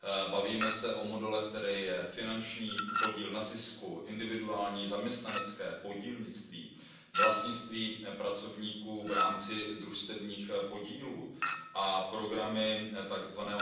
Bavíme se o modelech, kterými jsou finanční podíl na zisku, individuální zaměstnanecké podílnictví, vlastnictví pracovníků v rámci družstevních podílů a programy tzv.